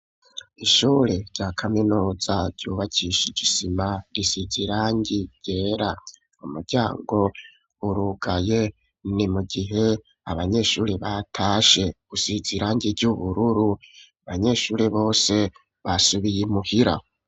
Ishure rya kaminuza ryubakishije isima risize irangi ryera, umuryango urugaye ni mu gihe abanyeshuri batashe usizirangi ry'ubururu, banyeshuri bose basubiye imuhira.